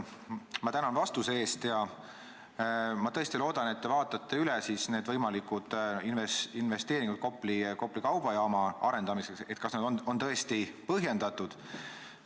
Ma tänan vastuse eest ja ma tõesti loodan, et te vaatate üle võimalikud investeeringud Kopli kaubajaama arendamiseks, selle, kas need on tõesti põhjendatud.